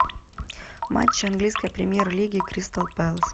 матч английской премьер лиги кристал пэлас